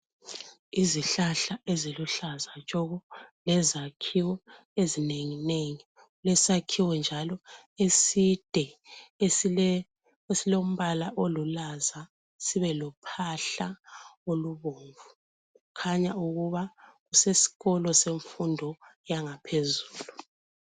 Izihlahla eziluhlaza tshoko lezakhiwo ezinenginengi. Kulesakhiwo njalo eside esile esilombala olulaza sibe lophahla olubomvu. Kukhanya ukuba kuseskolo semfundo yangaphezulu.